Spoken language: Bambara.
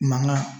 Mankan